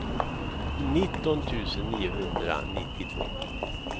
nitton tusen niohundranittiotvå